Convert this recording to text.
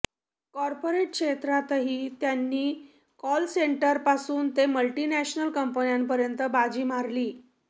corporate क्षेत्रातही त्यांनी call centre पासून ते मल्टिनॅशनल कंपन्यांपर्यंत बाजी मारली